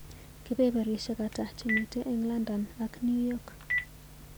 Kebebereshiek ata chemiite eng London ak New York.